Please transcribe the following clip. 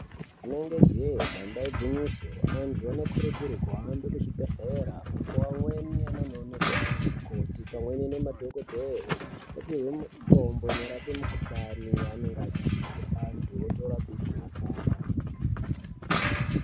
Rinenge jee damba igwinyiso, antu anokurudzirwe kuhambe kuzvibhedhlera uko amweni anonoonekwa nanamukoti pamweni nemadhogodheya opihwe mitombo inorape mikhuhlani yaanenge achizwa, antu otorapike opora.